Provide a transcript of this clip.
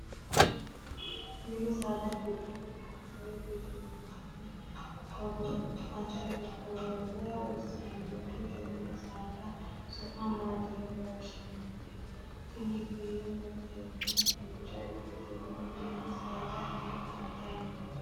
mini saada giddo mitte ikkitinoti hogophate horora hossannote tenne saada su'mi maati yine woshshinanniho? tini kiirotenni duucha ikkitino mini saada hiikka hadhanni noote?